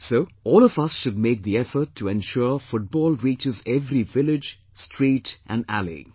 So, all of us should make the effort to ensure Football reaches every village, street and alley